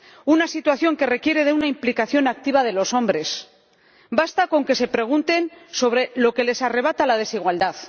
Una situación que requiere de una implicación activa de los hombres basta con que se pregunten sobre lo que les arrebata la desigualdad.